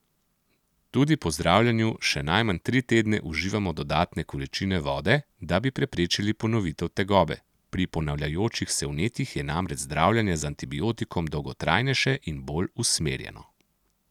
Tudi po zdravljenju še najmanj tri tedne uživamo dodatne količine vode, da bi preprečili ponovitev tegobe, pri ponavljajočih se vnetjih je namreč zdravljenje z antibiotikom dolgotrajnejše in bolj usmerjeno.